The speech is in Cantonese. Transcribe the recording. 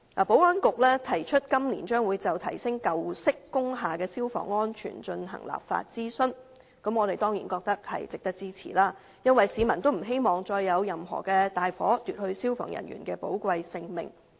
保安局表示，今年將就提升舊式工廈的消防安全進行立法諮詢，我們當然覺得是值得支持的，因為市民不希望再發生任何大火，奪去消防人員的寶貴性命。